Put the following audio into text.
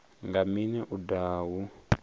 nga mini u daha hu